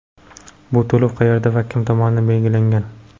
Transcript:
Bu to‘lov qayerda va kim tomonidan belgilangan?